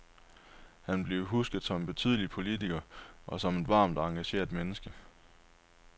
Han vil blive husket som en betydelig politiker og som et varmt og engageret menneske.